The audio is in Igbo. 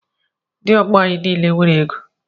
Ndị ọgọ anyị niile nwere égo.